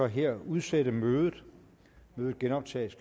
her udsætte mødet mødet genoptages